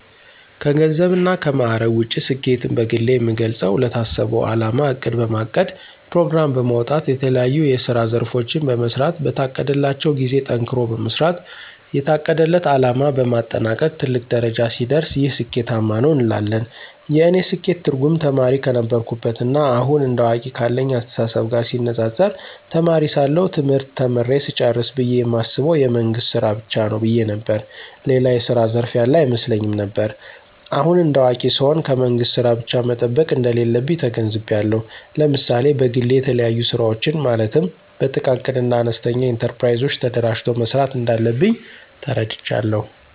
ከገንዘብ እና ከማዕረግ ውጭ ስኬትን በግሌ የምገልጸው ለታሰበው አላማ እቅድ በማቀድ ፕሮግራም በማውጣት የተለያዬ የስራ ዘርፎችን በመሥራት በታቀደላቸው ጊዜ ጠንክሮ በመስራት የታቀደለት አለማ በማጠናቀቅ ትልቅ ደረጃ ሲደርስ ይህ ስኬታማ ነው እንላለን። የእኔ ስኬት ትርጉም ተማሪ ከነበርኩበት ና አሁን እንደ አዋቂ ካለኝ አስተሳሰብ ጋር ሲነፃፀር ተማሪ ሳለሁ ትምህርት ተምሬ ስጨርስ ብየ የማስበው የመንግስት ስራ ብቻ ነው ብየ ነበር። ሌላ የስራ ዘርፍ ያለ አይመስለኝም ነበር። አሁን እንደ አዋቂ ስሆን ከመንግስት ስራ ብቻ መጠበቅ እንደሌለብኝ ተገንዝቤአለሁ። ለምሳሌ በግሌ የተለያዩ ስራወችን ማለትም በጥቃቅንና አነስተኛ ኢንተርፕራይዞች ተደራጅቶ መስራት እንዳለብኝ ተረድቻለሁ።